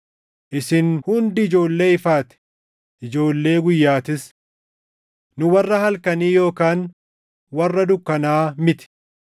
Isin hundi ijoollee ifaa ti; ijoollee guyyaatis. Nu warra halkanii yookaan warra dukkanaa miti.